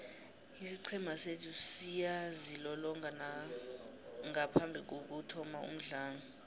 isiqhema sethu siyazilolonga ngaphambikokuthoma umdlalo